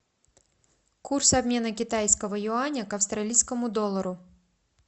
курс обмена китайского юаня к австралийскому доллару